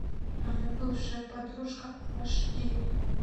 моя бывшая подружка аш ди